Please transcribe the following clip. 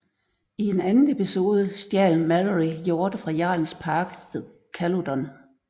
I en anden episode stjal Malory hjorte fra jarlens park ved Caludon